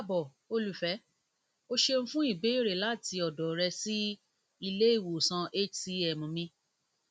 káàbọ̀ olufẹ o ṣeun fun ibéèrè láti ọ̀dọ̀ rẹ si ile iwosan hcm mi